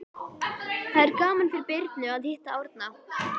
Það er gaman fyrir Birnu að hitta Árna.